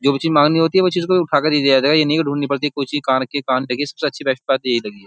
जो भी चीज माँगनी होती है वो चीज उसको उठा के दी ये नहीं है की धूंडनी पड़ती है की कोई चीज कहा रखी है कहां नहीं रखी सबसे अच्छी बेस्ट बात यही लगी है।